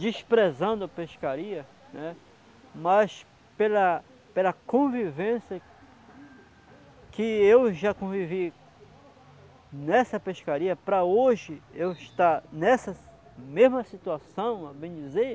desprezando a pescaria, né, mas pela convivência que eu já convivi nessa pescaria, para hoje eu estar nessa mesma situação, a bem dizer,